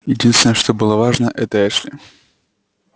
единственное что было важно это эшли